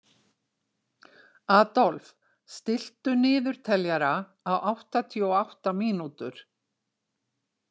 Adolf, stilltu niðurteljara á áttatíu og átta mínútur.